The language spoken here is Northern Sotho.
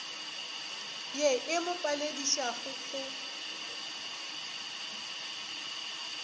ye e mo paledišago go